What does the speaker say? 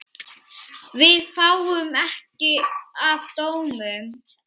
Við fáum mikið af dómum.